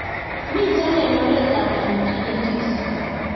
Mito eng'oret ab panniculitis